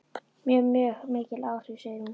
Já, mjög mikil áhrif, segir hún.